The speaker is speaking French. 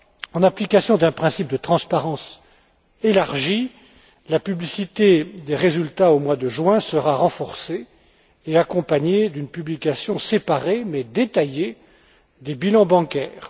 En application d'un principe de transparence élargi, la publicité des résultats au mois de juin sera renforcée et accompagnée d'une publication séparée, mais détaillée, des bilans bancaires.